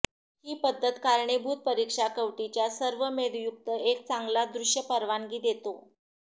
ही पद्धत कारणीभूत परीक्षा कवटीच्या सर्व मेदयुक्त एक चांगला दृश्य परवानगी देतो